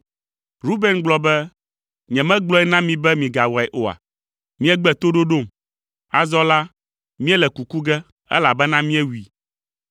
Ruben gblɔ be, “Nyemegblɔe na mi be migawɔe oa? Miegbe toɖoɖom. Azɔ la, míele kuku ge, elabena míewui.”